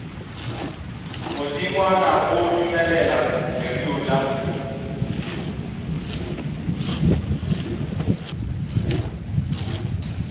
godingwana go dumelela lereo la